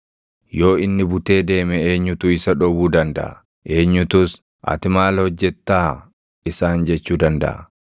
Yoo inni butee deeme eenyutu isa dhowwuu dandaʼa? Eenyutus, ‘Ati maal hojjettaa?’ isaan jechuu dandaʼa?